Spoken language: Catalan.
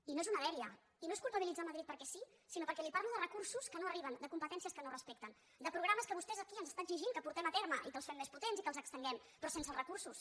i no és una dèria i no és culpabilitzar madrid perquè sí sinó perquè li parlo de recursos que no arriben de competències que no es respecten de programes que vostès aquí ens estan exigint que portem a terme i que els fem més potents i que els estenguem però sense recursos